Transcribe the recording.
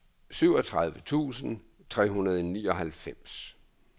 syvogtredive tusind tre hundrede og nioghalvfems